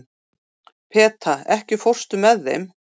Peta, ekki fórstu með þeim?